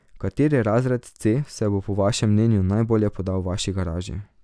Kateri razred C se bo po vašem mnenju najbolje podal vaši garaži?